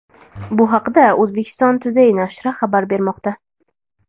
Bu haqda Uzbekistan Today nashri xabar bermoqda .